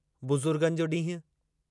बुज़ुर्गनि जो ॾींहुं